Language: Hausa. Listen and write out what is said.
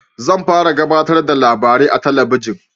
Zan fara gabatarda da labari a talabijin